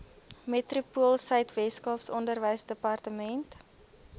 metropoolsuid weskaap onderwysdepartement